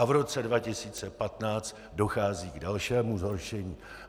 A v roce 2015 dochází k dalšímu zhoršení.